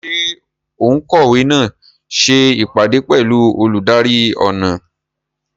Ṣé òǹkọ̀wé náà ṣe ìpàdé pẹ̀lú olùdarí ọnà?